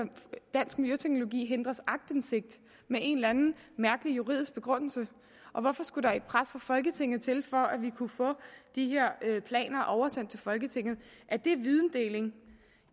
dansk miljøteknologi hindres aktindsigt med en eller anden mærkelig juridisk begrundelse og hvorfor skulle der et pres fra folketinget til for at vi kunne få de her planer oversendt til folketinget er det videndeling